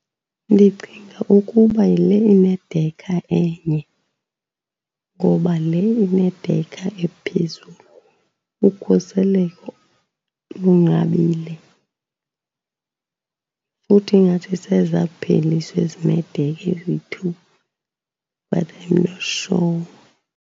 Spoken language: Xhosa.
Ndicinga ukuba yile inedekha enye, ngoba le inedekha ephezulu ukhuseleko lunqabile. Futhi ingathi sezapheliswa ezineedekha eziyi-two, but I'm not sure.